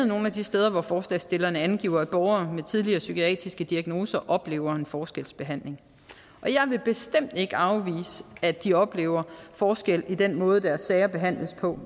nogle af de steder hvor forslagsstillerne angiver at borgere med tidligere psykiatriske diagnoser oplever en forskelsbehandling og jeg vil bestemt ikke afvise at de oplever forskel på den måde deres sager behandles på